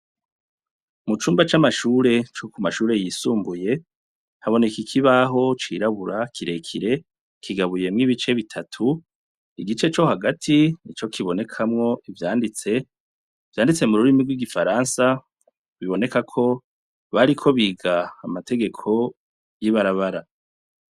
Mu cumba c'amashure co ku mashure yisumbuye haboneka ikibaho cirabura kirekire kigabuyemwo ibice bitatu, igice co hagati nico kibonekamwo ivyanditse, vyanditse mu rurimi rw'igifaransa, biboneka ko bariko bariga amategeko y'ibarabara